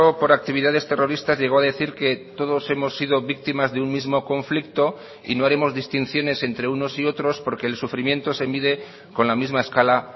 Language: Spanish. por actividades terroristas llegó a decir que todos hemos sido víctimas de un mismo conflicto y no haremos distinciones entre unos y otros porque el sufrimiento se mide con la misma escala